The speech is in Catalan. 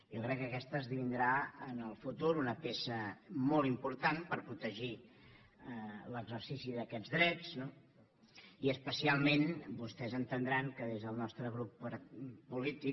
jo crec que aquesta esdevindrà en el futur una peça molt important per protegir l’exercici d’aquests drets no i especialment vostès entendran que des del nostre grup polític